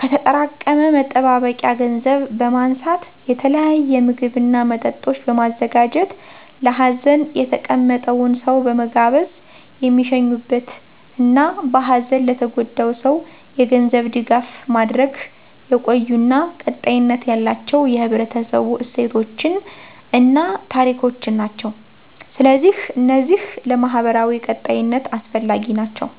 ከተጠራቀመ መጠባበቂያ ገንዘብ በማንሳት የተለያየ ምግብ እና መጠጦች በማዘጋጀት ለሀዘን የተቀመጠውን ሰው በመጋበዝ የሚሸኙበት እና በሀዘን ለተጎዳው ሰው የገንዘብ ድጋፍ ማድረግ የቆዩ እና ቀጣይነት ያላቸው የህብረተሰቡ እሴቶችን እና ታሪኮችን ናቸው። ስለዚህ እነዚህ ለማህበራዊ ቀጣይነት አስፈላጊ ናቸው።